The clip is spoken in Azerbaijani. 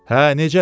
Hə, necədir?